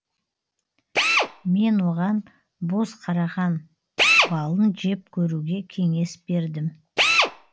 мен оған боз қараған балын жеп көруге кеңес бердім